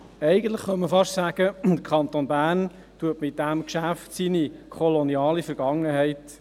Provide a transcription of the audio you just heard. Eigentlich könnte man fast sagen, der Kanton Bern erledige bei diesem Geschäft seine koloniale Vergangenheit.